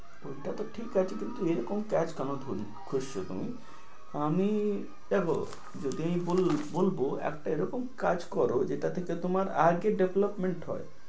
ঐটাতো ঠিক আছে কিন্তু এ রকম কাজ তুমি, আমি দেখো যদি বল~ বলবো একটা এ রকম কাজ করো যেটা থেকে তোমার আগে development হয়।